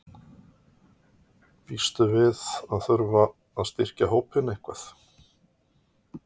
Býstu við að þurfa að styrkja hópinn eitthvað?